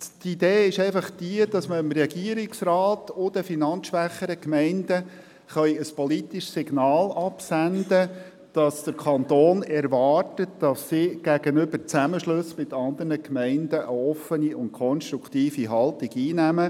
Die Idee ist es, an den Regierungsrat und die finanzschwächeren Gemeinden ein politisches Signal senden zu können, wonach der Kanton erwartet, dass sie gegenüber Zusammenschlüssen mit anderen Gemeinden eine offene und konstruktive Haltung einnehmen.